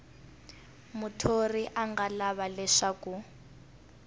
muthori a nga lava leswaku